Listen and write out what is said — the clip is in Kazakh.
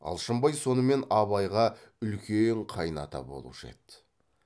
алшынбай сонымен абайға үлкен қайыната болушы еді